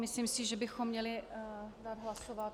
Myslím si, že bychom měli dát hlasovat.